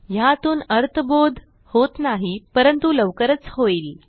ह्यातून अर्थबोध होत नाही परंतु लवकरच होईल